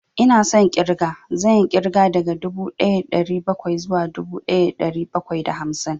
Ina son ƙirga, zan yi ƙirga daga dubu ɗaya da ɗari bakwai zuwa dubu ɗaya da ɗari bakwai da hamsin